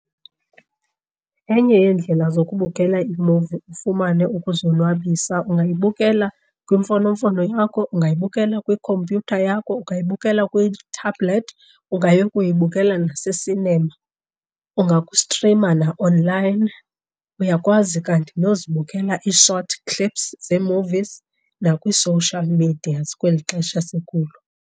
Enye yeendlela zokubukela imuvi ufumane ukuzonwabisa angayibukela kwimfonomfono yakho, ungayibukela kwikhompyutha yakho, ungayibukela kwi-tablet, ungayokuyibukela nase-cinema. Ungakustrima na-online, uyakwazi kanti nozibukela ii-short clips zee-movies nakwii-social medias kweli xesha sikulo.